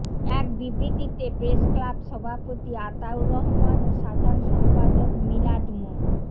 এক বিবৃতিতে প্রেসক্লাব সভাপতি আতাউর রহমান ও সাধারণ সম্পাদক মিলাদ মো